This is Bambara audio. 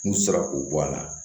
N'u sera k'o bɔ a la